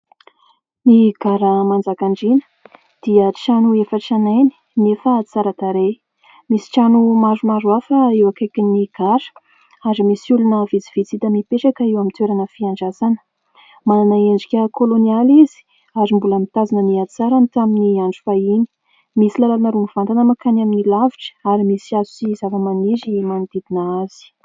Ny gara Manjakandriana dia trano efa tranainy nefa tsara tarehy. Misy trano maromaro hafa eo akaikin'ny gara ary misy olona vitsivitsy hita mipetraka eo amin'ny toerana fiandrasana. Manana endrika kôlônialy izy ary mbola mitazona ny hatsarany tamin'ny andro fahiny. Misy lalana roa mivantana mankany amin'ny lavitra ary misy hazo sy zavamaniry manodidina azy.